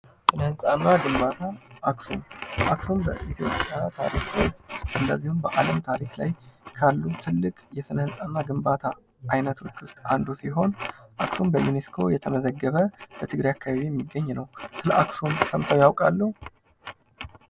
ስነህንጻ እና ግንባታ አክሱም አክሱም በኢትዮጵያ ታሪክ ውስጥ እንዲሁም በአለም ታሪክ ላይ ካሉ ትልቅ የስነህንጻ እና ግንባታ አይነቶች ውስት አንዱ ሲሆን እሱም በዩኔስኮ የተመዘገበ በትግራይ አካባቢ የሚገኝ ነው። ስለአክሱም ሰምተው ያቃሉ?